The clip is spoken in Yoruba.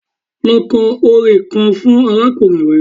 Lọ kọ orin kan fún arákùnrin rẹ!